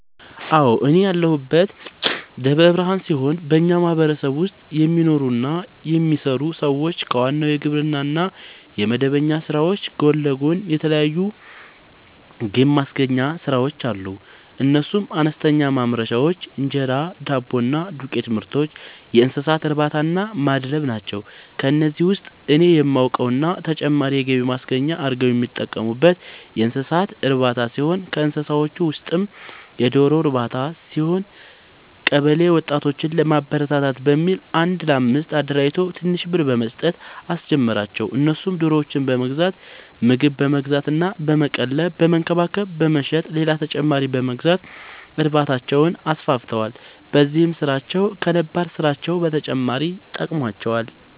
አዎ፤ እኔ ያለሁት ደብረ ብርሃን ሲሆን በኛ ማህበረሰብ ውስጥ የሚኖሩ እና የሚሰሩ ሰዎች ከዋናው የግብርና እና የመደበኛ ስራዎች ጎን ለጎን የተለያዩ ገብማስገኛ ስራዎች አሉ፤ እነሱም፦ አነስተኛ ማምረቻዎች(እንጀራ፣ ዳቦ እና የዱቄትምርቶች)፣የእንሰሳትእርባታናማድለብ ናቸው። ከነዚህ ውስጥ እኔ የማውቀው እና ተጨማሪ የገቢ ማስገኛ አርገው የሚጠቀሙበት የእንሰሳት እርባታ ሲሆን ከእንስሳዎቹ ውስጥም የዶሮ ርባታ ሲሆን፤ ቀበለ ወጣቶችን ለማበረታታት በሚል አንድ ለአምስት አደራጅቶ ትንሽ ብር በመስጠት አስጀመራቸው እነሱም ዶሮዎችን በመግዛት ምግብ በመግዛት እና በመቀለብ በመንከባከብ በመሸጥ ሌላ ተጨማሪ በመግዛት እርባታቸውን አስፋፍተዋል። በዚህም ስራቸው ከነባር ስራቸው በተጨማሪ ጠቅሞዋቸዋል።